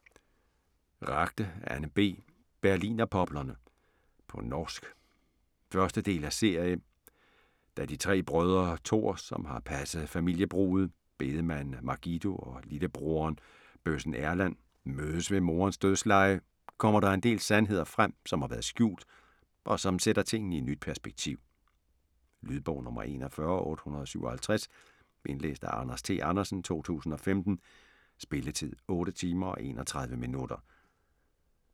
Ragde, Anne B.: Berlinerpoplene På norsk. 1. del af serie. Da de tre brødre, Tor, som har passet familiebruget, bedemanden Margido, og lillebroderen, bøssen Erlend mødes ved moderens dødsleje, kommer der en del sandheder frem, som har været skjult, og som sætter tingene i nyt perspektiv. Lydbog 41857 Indlæst af Anders T. Andersen, 2015. Spilletid: 8 timer, 31 minutter.